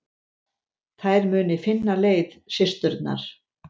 Þær muni finna leið, systurnar.